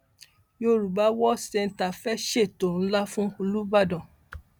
yorùbá world centre fee ṣètò ńlá fún olùbàdàn